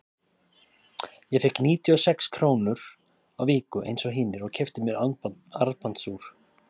Ég fékk níutíu og sex krónur á viku eins og hinir og keypti mér armbandsúr.